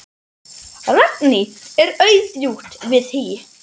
Ragný er aðjunkt við HÍ.